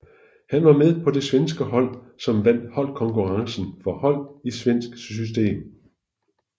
Han var med på det svenske hold som vandt holdkonkurrencen for hold i svensk system